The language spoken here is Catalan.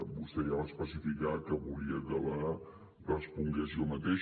vostè ja va especificar que volia que la respongués jo mateix